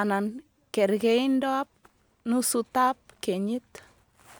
anan kerkeindoab nusutab kenyit